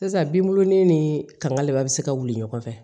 Sisan binbuluni ni kankalaba bɛ se ka wuli ɲɔgɔn fɛ